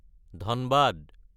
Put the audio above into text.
Dhanbad